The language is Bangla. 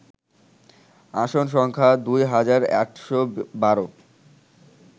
আসন সংখ্যা দুই হাজার ৮১২